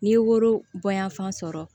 N'i ye woro bonyanfan sɔrɔ